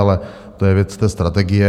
Ale to je věc té strategie.